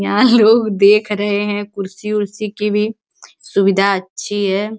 यहाँ लोग देख रहे हैं। कुर्सी-उर्सी की भी सुविधा अच्छी है।